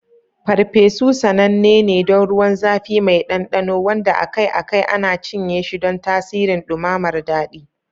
Parpesu sananne ne don ruwan zafi mai ɗanɗano, wanda akai-akai ana cinye shi don tasirin ɗumamar daɗi.